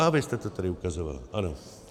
A vy jste to tady ukazovala, ano.